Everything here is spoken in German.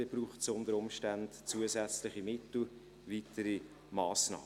Dann braucht es unter Umständen zusätzliche Mittel und weitere Massnahmen.